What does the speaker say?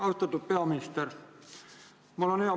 Austatud peaminister!